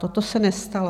To se nestalo.